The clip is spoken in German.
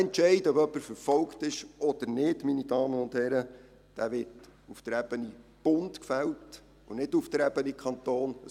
Dieser Entscheid, ob jemand verfolgt ist oder nicht, meine Damen und Herren, wird auf Bundesebene gefällt, und nicht auf Kantonsebene.